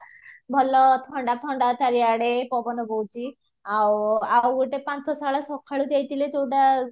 ଭଲ ଥଣ୍ଡା ଥଣ୍ଡା ଚାରିଆଡେ ପବନ ବହୁଛି ଆଉ ଗୋଟେ ପାନ୍ଥଶାଳା ସକାଳୁ ଯାଇଥିଲେ ଯୋଉଟା